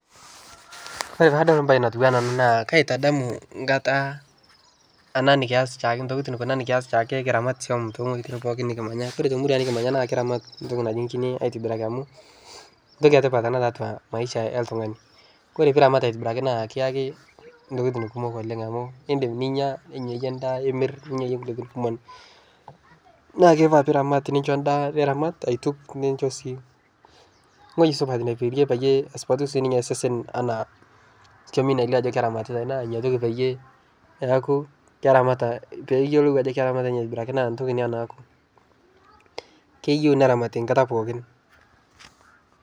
Ore paadol embaye natiu anaa ena naa kaitadamu nkataa ana nikias shaake ntokitin kuna nikias shake kiramat tiang' ntokitin pooki nikimanya. Kore temurua nikimanya naa kiramat ntoki naji enkine aitibiraki amu ntoki etipat ena tiatua maisha oltung'ani. Kore piramat aitibiraki naa kiaki intokitin kumok oleng' amu indim ninya, ninyayie endaa, imirr, ninyayie nkulie tokitin kumok. Nakeifaa piramat nincho ndaa niramat, aituk nincho sii wueji supat neperie peyie esupatu sininye sesen anaa kiamini elio ajo keramatitai. Naa nyoriki peyie eaku keramata peeyiolou ajo keramatita ninye aitobiraki naa ntoki ina naaku. Keyou neramati enkata pookin.